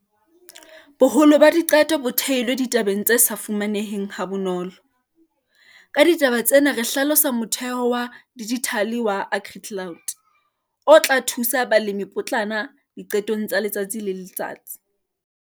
BOHOLO BA DIQETO BO THEILWE DITABENG TSE SA FUMANEHENG HA BONOLO. KA DITABA TSENA RE HLALOSA MOTHEHO WA DIJITHALE WA AGRICLOUD, O TLA THUSA BALEMIPOTLANA DIQETONG TSA LETSATSI LE LETSATSI.